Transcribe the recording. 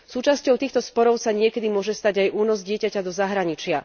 Súčasťou týchto sporov sa niekedy môže stať aj únos dieťaťa do zahraničia.